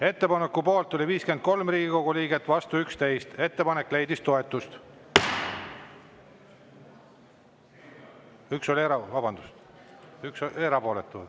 Ettepaneku poolt oli 53 Riigikogu liiget, vastu 11 ja 1 oli erapooletu.